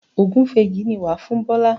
Ògúnfe yìí ni wà á fún Bọ́lá.